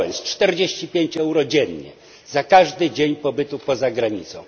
45 euro dziennie za każdy dzień pobytu poza granicą.